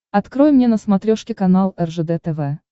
открой мне на смотрешке канал ржд тв